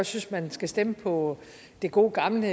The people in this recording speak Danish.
synes at man skal stemme på det gode gamle